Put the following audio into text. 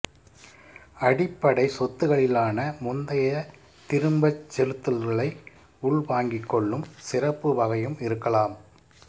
அடிப்படை சொத்துகளிலான முந்தைய திரும்பச் செலுத்தல்களை உள்வாங்கிக்கொள்ளும் சிறப்பு வகையும் இருக்கலாம்